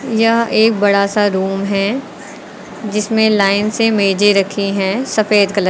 यह एक बड़ा सा रूम है जिसमें लाइन से मेजे रखी हैं सफेद कलर --